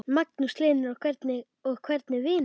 Magnús Hlynur: Og hvernig vinur?